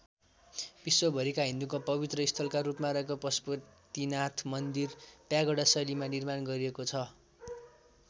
विश्वभरिका हिन्दूको पवित्र स्थलका रूपमा रहेको पशुपतिनाथ मन्दिर प्यागोडा शैलीमा निर्माण गरिएको छ।